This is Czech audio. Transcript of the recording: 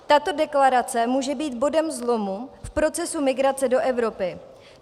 Tato deklarace může být bodem zlomu v procesu migrace do Evropy.